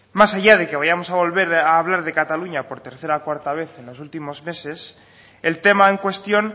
más allá de que vayamos a volver a hablar de cataluña por tercera o cuarta vez en los últimos meses el tema en cuestión